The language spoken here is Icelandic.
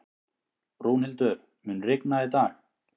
Rúnhildur, mun rigna í dag?